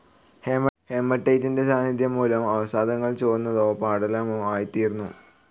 ഹേമട്ടൈറ്റിന്റെ സാന്നിധ്യം മൂലം അവസാദങ്ങൾ ചുവന്നതോ പാടലമോ ആയിത്തീരുന്നു.